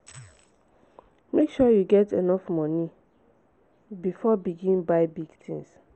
make sure you get enough money before begin buy big tins.